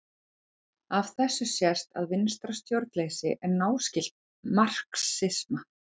Af þessu sést að vinstra stjórnleysi er náskylt marxisma.